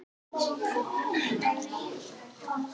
Er málþófi lokið?